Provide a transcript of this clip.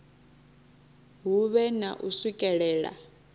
hu vhe na u swikelela